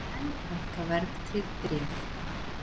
Enn hækka verðtryggð bréf